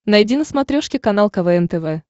найди на смотрешке канал квн тв